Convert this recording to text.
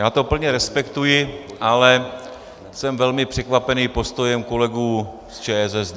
Já to plně respektuji, ale jsem velmi překvapen postojem kolegů z ČSSD.